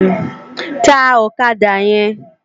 Tá òkàdá yèn